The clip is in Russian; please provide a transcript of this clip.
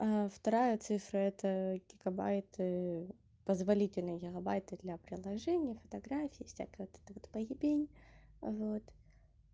вторая цифра это гигабайт позволительно гигабайты для приложения фотографий и всякая эта поебень вот